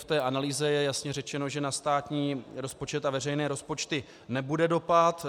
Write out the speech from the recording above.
V té analýze je jasně řečeno, že na státní rozpočet a veřejné rozpočty nebude dopad.